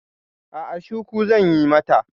A'a, shuku zan yi mata.